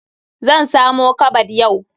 Zan samo kabad yau.